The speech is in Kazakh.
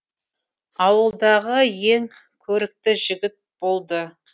ауылдағы ең көрікті жігіт болды